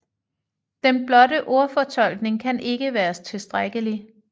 Den blotte ordfortolkning kan ikke være tilstrækkelig